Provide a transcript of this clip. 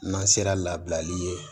N'an sera labilali ye